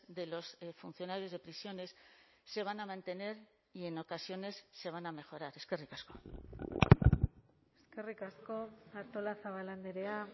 de los funcionarios de prisiones se van a mantener y en ocasiones se van a mejorar eskerrik asko eskerrik asko artolazabal andrea